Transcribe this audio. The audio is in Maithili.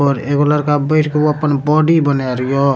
और एगो लड़का बैठ के ऊ अपन बॉडी बना रियो।